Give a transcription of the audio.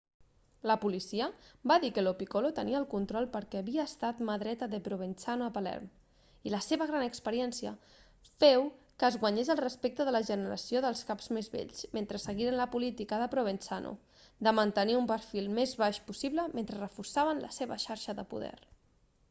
la policia va dir que lo piccolo tenia el control perquè havia estat la mà dreta de provenzano a palerm i la seva gran experiència feu que es guanyés el respecte de la generació de caps més vells mentre seguien la política de provenzano de mantenir un perfil el més baix possible mentre reforçaven la seva xarxa de poder